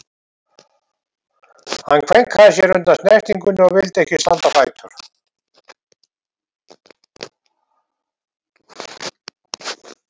Hann kveinkaði sér undan snertingunni og vildi ekki standa á fætur.